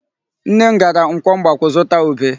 Nne m gara nkwọ Mgbakwụ zụta ube.